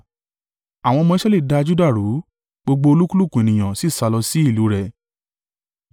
Àwọn ọmọ Israẹli da Juda rú, gbogbo olúkúlùkù ènìyàn sì sálọ sí ìlú rẹ̀.